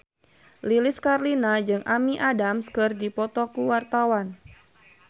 Lilis Karlina jeung Amy Adams keur dipoto ku wartawan